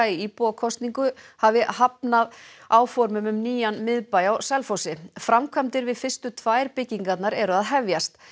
í íbúakosningu hafi hafnað áformum um nýjan miðbæ á Selfossi framkvæmdir við fyrstu tvær byggingarnar eru að hefjast